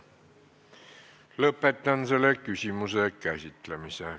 Lõpetan selle küsimuse käsitlemise.